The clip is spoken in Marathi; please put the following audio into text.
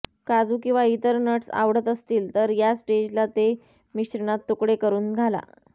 काजू किंवा इतर नट्स आवडत असतील तर या स्टेजला ते मिश्रणात तुकडे करुन घाला